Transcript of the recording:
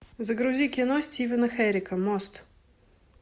загрузи кино стивена херека мост